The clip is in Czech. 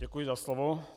Děkuji za slovo.